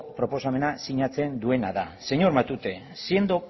proposamena sinatzen duena da señor matute siendo